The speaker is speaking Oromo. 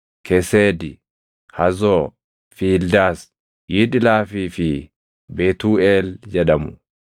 Keseedi, Hazoo, Fiildaas, Yiidlaafii fi Betuuʼeel jedhamu.”